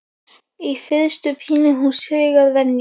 Í fyrstu pínir hún sig að venju.